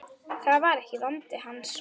Það var ekki vandi hans.